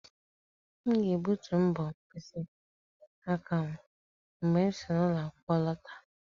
M ga-egbutu mbo mkpịsị aka m mgbe m si n'ụlọ akwụkwọ lọta